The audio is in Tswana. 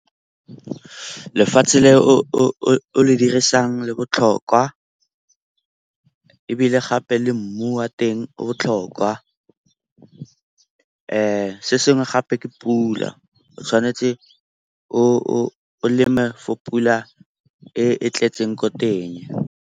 Lefatshe le o le dirisang le botlhokwa ebile gape le mmu wa teng o botlhokwa. Se sengwe gape ke pula, o tshwanetse o leme fo pula e tletseng ko teng.